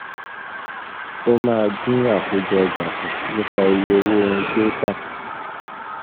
O máa dín àkójọ ọjà kù, nípa iye owó ohun tí o tà.